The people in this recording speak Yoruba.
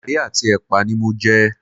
Garí àti epa ni mo jẹ